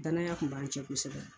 Danaya tun b'an cɛ kosɛbɛ.